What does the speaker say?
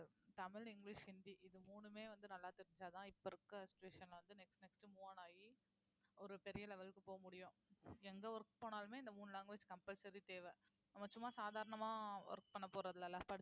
Tamil, English, Hindi இது மூணுமே வந்து நல்லா தெரிஞ்சாதான் இப்ப இருக்க situation ல வந்து next next move on ஆகி ஒரு பெரிய level க்கு போக முடியும் எங்க work போனாலுமே இந்த மூணு language compulsory தேவை நம்ம சும்மா சாதாரணமா work பண்ண போறது இல்லல்ல